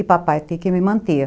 E papai ter que me manter.